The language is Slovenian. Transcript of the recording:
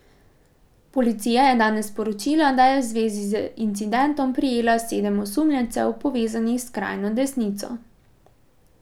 Policija je danes sporočila, da je v zvezi z incidentom prijela sedem osumljencev, povezanih s skrajno desnico.